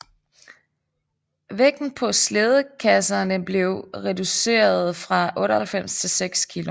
Vægten på slædekasserne blev reducerede fra 98 til 6 kg